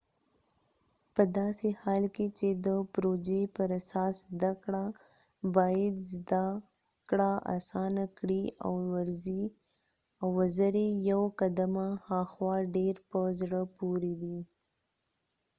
پداسې حال کې چې د پروژې پراساس زده کړه باید زده کړه اسانه کړي او وزرې یو قدمه هاخوا ډیر په زړه پوری دي